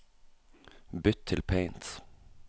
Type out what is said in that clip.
Bytt til Paint